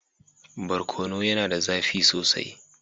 Barkono yana da zafi sosai